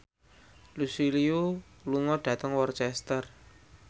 Lucy Liu lunga dhateng Worcester